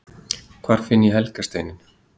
Hvar finn ég helga steininn!?